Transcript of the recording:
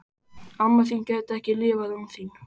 Amma þín gæti ekki lifað án þín.